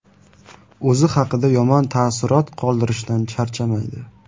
O‘zi haqida yomon taassurot qoldirishdan charchamaydi.